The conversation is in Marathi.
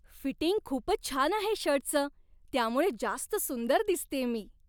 फिटिंग खूपच छान आहे शर्टचं. त्यामुळे जास्त सुंदर दिसतेय मी.